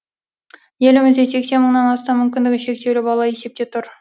елімізде сексен мыңнан астам мүмкіндігі шектеулі бала есепте тұр